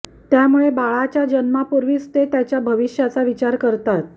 त्यामुळे बाळाच्या जन्मापूर्वीच ते त्याच्या भविष्याचा विचार करतात